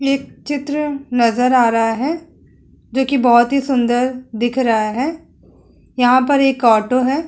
एक चित्र नजर आ रहा है जोकि बोहोत सुंदर दिख रहा है। यहाँ पर एक ऑटो है।